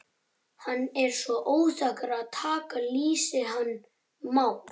Hann er svo óþekkur að taka lýsið hann Már.